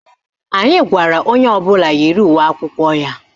Anyị gwara onye ọbụla yiri uwe akwụkwọ ya.